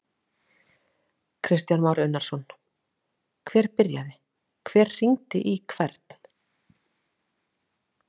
Kristján Már Unnarsson: Hver byrjaði, hver hringdi í hvern?